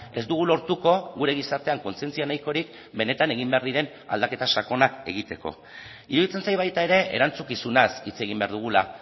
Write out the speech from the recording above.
ez dugu lortuko gure gizartean kontzientzia nahikorik benetan egin behar diren aldaketa sakonak egiteko iruditzen zait baita ere erantzukizunaz hitz egin behar dugula